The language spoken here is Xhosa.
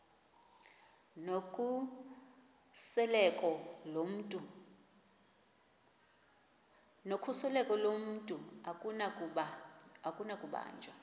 nokhuseleko lomntu akunakubanjwa